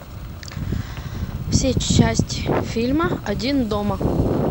все части фильма один дома